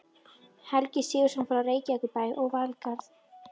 Helgi Sigurðsson frá Reykjavíkurbæ og Valgarð